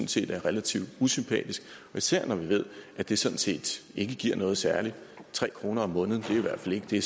set er relativt usympatisk især når vi ved at det sådan set ikke giver noget særligt tre kroner om måneden er i hvert fald ikke det